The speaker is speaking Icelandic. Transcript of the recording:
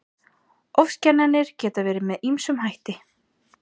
Ofskynjanir geta verið með ýmsum hætti.